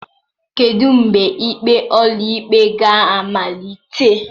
Kedu mgbe ikpe ụlọikpe ga-amalite?